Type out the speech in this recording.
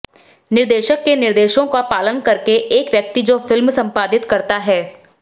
निदेशक के निर्देशों का पालन करके एक व्यक्ति जो फिल्म संपादित करता है